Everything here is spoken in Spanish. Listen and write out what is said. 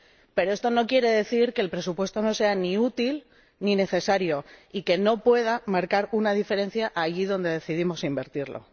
Pero esto no quiere decir que el presupuesto no sea ni útil ni necesario y que no pueda marcar una diferencia allí donde decidamos invertirlo.